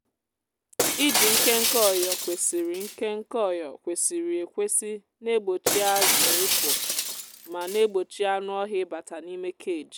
iji nkénké ọyò kwesịrị nkénké ọyò kwesịrị ekwesị na-egbochi azụ ịpụ ma na-egbochi anụ ọhịa ịbata n'ime cage.